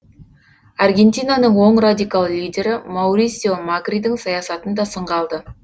аргентинаның оң радикал лидері маурисио макридің саясатын да сынға алды